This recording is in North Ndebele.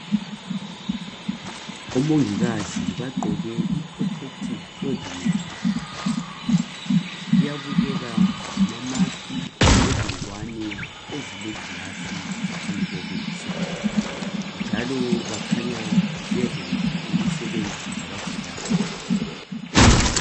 Omongikazi bagqoke i- protective clothing yabo. Kuyabukeka ngama mask lezingwane ezilegilasi phambi kobuso njalo bakhanya bezimisele ukusebenza labagulayo.